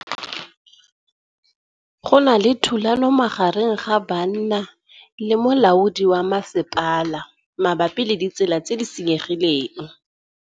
Go na le thulanô magareng ga banna le molaodi wa masepala mabapi le ditsela tse di senyegileng.